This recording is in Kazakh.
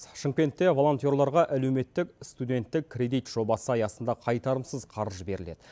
шымкентте волонтерларға әлеуметтік студенттік кредит жобасы аясында қайтарымсыз қаржы беріледі